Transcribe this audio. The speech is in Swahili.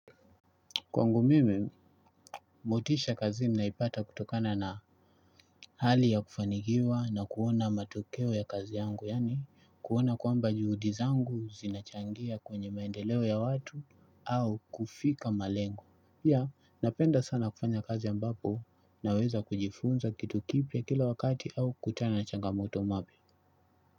Kwangu mimi, motisha kazi naipata kutokana na hali ya kufanigiwa na kuona matokeo ya kazi yangu, yani kuona kwamba juhudi zangu zinachangia kwenye maendeleo ya watu au kufika malengo. Ya, napenda sana kufanya kazi ambapo naweza kujifunza kitu kipia kila wakati au kutana changamoto mapia.